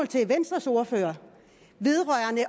til venstres ordfører